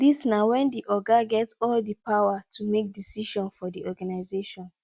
dis na when di oga get all di power to make decision for the organisation